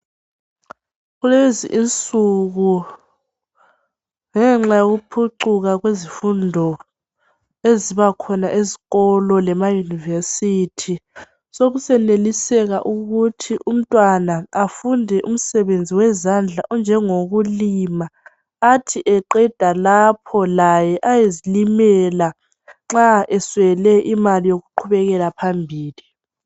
Kulezinsuku ngenxa yokuphucuka kwezifundo eziba khona ezikolo lasemayunivesithi, sokuseneliseka ukuthi umntwana afunde umsebenzi wezandla onjengokulima, athi eqeda lapho laye ayezilimela nxa eswele imali yokuqhubekela phambili.